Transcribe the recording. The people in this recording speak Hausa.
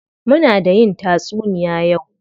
Muna da yin tatsuniya yau.